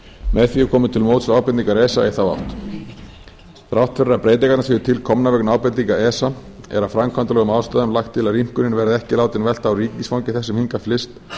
með því er komið til móts við ábendingar esa í þá átt þrátt fyrir að breytingarnar séu til komnar vegna ábendinga esa er af framkvæmdalegum ástæðum lagt til að rýmkunin verði ekki látin velta á ríkisfangi þess sem hingað flyst